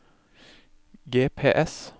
GPS